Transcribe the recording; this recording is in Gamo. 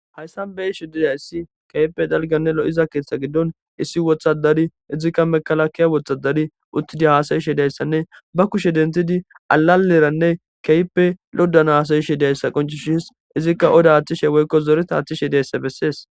hayssan beyishe diyayssi keype dalganne lo7iza keeththa giddon issi wothadari izikka mekalakkiya wothadari uttidi haasayishe dayssanne ba kushe dentidi alaleranne keyppe loddan haasayishe dayssa qonchishis izikka oda aththishe woykko zoreta aththishe dayssa bessees